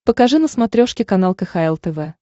покажи на смотрешке канал кхл тв